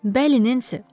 Bəli, Nensinin.